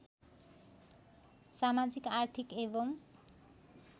समाजिक आर्थिक एवं